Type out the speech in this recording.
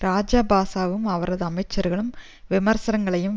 இராஜபக்ஷவும் அவரது அமைச்சர்களும் விமர்சகர்களையும்